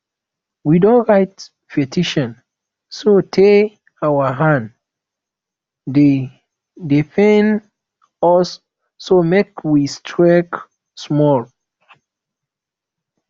we don write petition so tey our hand dey dey pain us so make we strike small